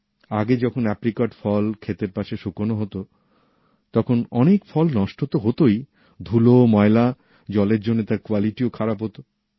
আগে যখন আপ্রিকট ফল ক্ষেতের পাশে শুকানো হত তখন অনেক ফল নষ্ট ত হতই ধুলো ময়লা জলের জন্যে তার গুনমানও খারাপ হত